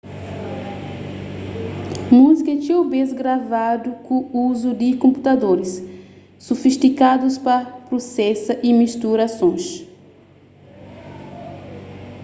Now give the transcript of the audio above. múzika é txeu bês gravadu ku uzu di konputadoris sufistikadus pa prusesa y mistura sons